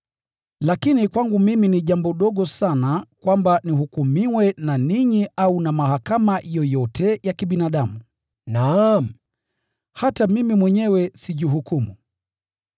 Lakini kwangu mimi ni jambo dogo sana kwamba nihukumiwe na ninyi au na mahakama yoyote ya kibinadamu. Naam, hata mimi mwenyewe sijihukumu.